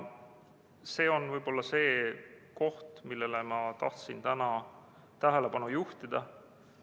See on võib-olla see, millele ma tahtsin täna tähelepanu juhtida.